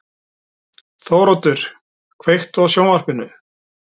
Þóroddur, kveiktu á sjónvarpinu.